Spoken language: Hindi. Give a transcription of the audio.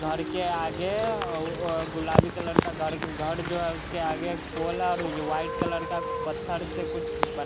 घर के आगे वो गुलाबी कलर का घर घर जो है उसके आगे एक पोल है और यो वाइट कलर का पत्थर से कुछ ब --